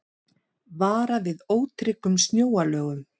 Varað við ótryggum snjóalögum